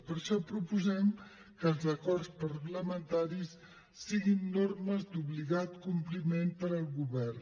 per això proposem que els acords parlamentaris siguin normes d’obligat compliment per al govern